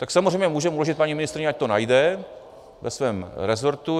Tak samozřejmě můžeme uložit paní ministryni, ať to najde ve svém resortu.